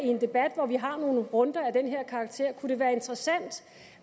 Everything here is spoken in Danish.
i en debat hvor vi har nogle runder af den her karakter kunne være interessant